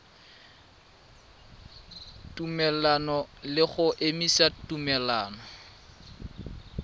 tumelelano le go emisa tumelelano